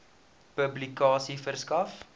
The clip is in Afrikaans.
publikasie verskaf